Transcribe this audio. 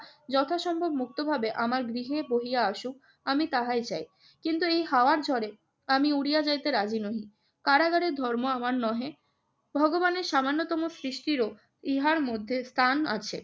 যথাসম্ভব মুক্তভাবে আমার গৃহে বহিয়া আসুক আমি তাহাই চাই। কিন্তু এই হাওয়ার ঝড়ে আমি উড়িয়া যাইতে রাজি নহি। কারাগারের ধর্ম আমার নহে, ভগবানের সামান্যতম সৃষ্টিরও ইহার মধ্যে স্থান আছে।